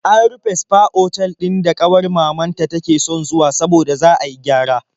An rufe sfa otal ɗin da ƙawar mamanta take son zuwa saboda za a yi gyara.